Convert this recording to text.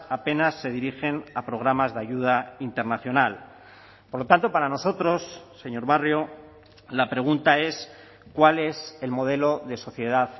apenas se dirigen a programas de ayuda internacional por lo tanto para nosotros señor barrio la pregunta es cuál es el modelo de sociedad